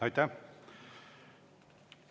Aitäh!